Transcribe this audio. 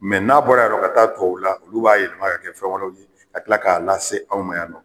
n'a bɔra yarɔ ka taa tuwawula olu b'a yɛlɛma k'a kɛ fɛn wɛrɛw ye ka tila k'a lase anw ma yan nɔ.